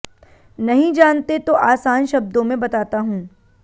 नहीं जानते तो आसान शब्दों में बताता हूं